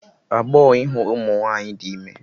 Agbọọ ịhụ ụmụ nwaanyị dị ime